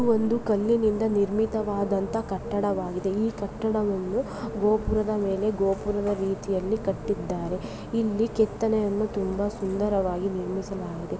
ಒಂದು ಕಲ್ಲಿನಿಂದ ನಿರ್ಮಿತವಾದಂತ ಕಟ್ಟಡವಾಗಿದೆ ಈ ಕಟ್ಟಡವನ್ನು ಗೋಪುರದ ಮೇಲೆ ಗೋಪುರದ ರೀತಿಯಲ್ಲಿ ಕಟ್ಟಿದ್ದಾರೆ ಇಲ್ಲಿ ಕೆತ್ತನೆಯನ್ನು ತುಂಬಾ ಸುಂದರ್ರವಾಗಿ ನಿರ್ಮಿಸಲಾಗಿದೆ.